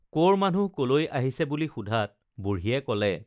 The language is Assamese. কৰ মানুহ কলৈ আহিছে বুলি সোধাত বুঢ়ীয়ে কলে